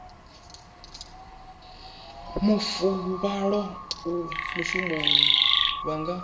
mafuvhalo a mushumoni vha nga